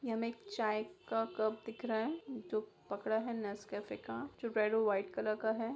ये हमें एक चाय का कप दिख रहा है जो पकड़ा है नेस्कैफ़े का जो रेड और व्हाइट कलर का है।